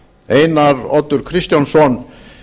einar oddur kristjánsson